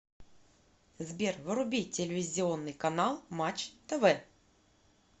сбер вруби телевизионный канал матч тв